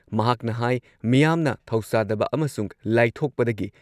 ꯃꯍꯥꯛꯅ ꯍꯥꯏ ꯃꯤꯌꯥꯝꯅ ꯊꯧꯁꯥꯗꯕ ꯑꯃꯁꯨꯡ ꯂꯥꯏꯊꯣꯛꯄꯗꯒꯤ